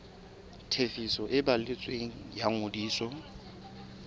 tefiso e balletsweng ya ngodiso